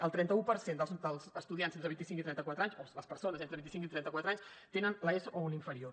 el trenta un per cent dels estudiants d’entre vint icinc i trenta quatre anys o les persones d’entre vint i cinc i trenta quatre anys tenen l’eso o un inferior